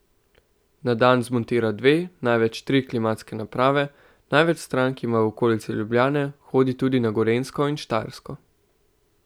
Na dan zmontira dve, največ tri klimatske naprave, največ strank ima v okolici Ljubljane, hodi tudi na Gorenjsko in Štajersko.